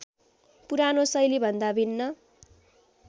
पुरानो शैलीभन्दा भिन्न